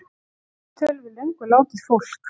Tók viðtöl við löngu látið fólk